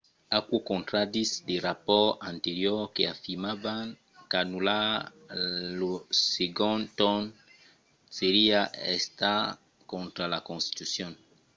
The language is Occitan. aquò contraditz de rapòrts anteriors que afirmavan qu’anullar lo segond torn seriá estat contra la constitucion